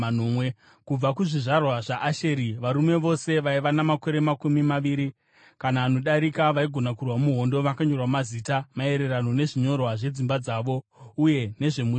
Kubva kuzvizvarwa zvaAsheri: Varume vose vaiva namakore makumi maviri kana anodarika vaigona kurwa muhondo vakanyorwa mazita, maererano nezvinyorwa zvedzimba dzavo uye nezvemhuri dzavo.